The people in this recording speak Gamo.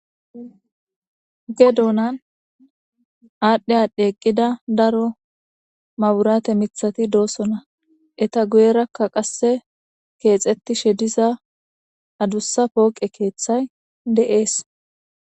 Oge duunan aadhdhe aadhdhi eqqida daro maburaate mithati doosona eta guyerakka qasse keexettishe diza adussa pooqe keeththay de7ees